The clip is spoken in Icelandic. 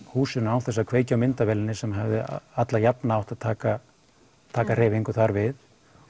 húsinu án þess að kveikja á myndavélinni sem hefði allajafna átt að taka taka hreyfingu þar við